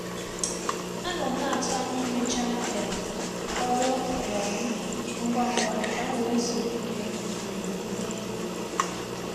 Anọ m na-atụ anya imecha um ọrụ um m ngwa ngwa ka m wee zuru ike um n'ehihie.